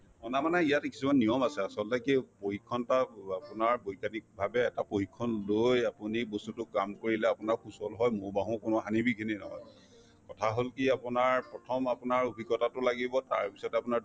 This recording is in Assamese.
অনা মানে ইয়াতে কিছুমান নিয়ম আছে আচলতে কি প্ৰশিক্ষণ এটা আপোনাৰ বৈজ্ঞানীক ভাবে এটা প্ৰশিক্ষণ লৈ আপুনি বস্তুটো কাম কৰিলে আপোনাৰ সুচল হয় মৌ বাহৰ কোনো হানি-বিঘিনি নহয় কথা হল কি আপোনাৰ প্ৰথম আপোনাৰ অভিজ্ঞতাতো লাগিব তাৰপিছত আপোনাৰ